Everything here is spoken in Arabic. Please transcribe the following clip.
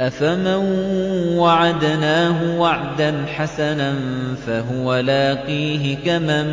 أَفَمَن وَعَدْنَاهُ وَعْدًا حَسَنًا فَهُوَ لَاقِيهِ كَمَن